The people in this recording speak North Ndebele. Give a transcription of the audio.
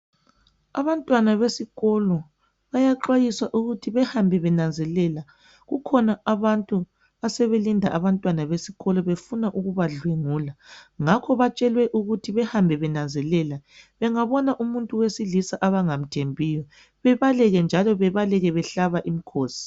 Abantwana besikolo bayaxwayiswa ukuthi behambe benanzelela, kukhona abantu asebelinda abantwana besikolo befuna ukubadlwengula. Ngakho batshelwe ukuthi behambe benanzelela bengabona umuntu wesilisa abangamthembiyo bebaleke njalo bebaleke behlaba imkhosi.